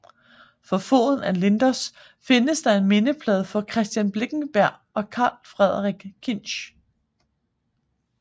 For foden af Lindos findes der en mindeplade for Christian Blinkenberg og Karl Frederik Kinch